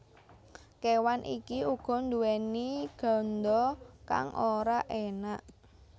Kéwan iki uga nduwèni ganda kang ora enak